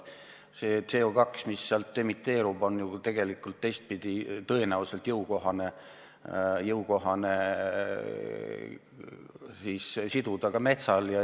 See CO2, mis sealt emiteerub, on tõenäoliselt jõukohane siduda ka metsal endal.